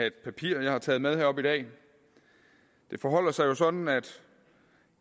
et papir jeg har taget med herop i dag det forholder sig jo sådan at